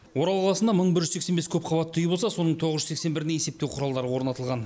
орал қаласында мың бір жүз сексен бес көпқабатты үй болса соның тоғыз жүз сексен біріне есептеу құралдары орнатылған